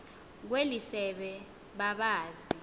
kweli sebe babazi